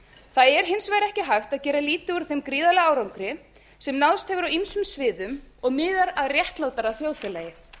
það er hins vegar ekki hægt að gera lítið úr þeim gríðarlega árangri sem náðst hefur á ýmsum sviðum og miðar að réttlátara þjóðfélagi